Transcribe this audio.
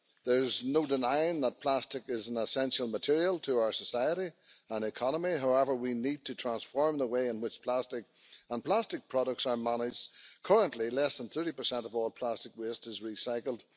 There is no denying that plastic is an essential material for our society and economy. However, we need to transform the way in which plastic and plastic products are managed. Currently less than 30 of all plastic waste is recycled.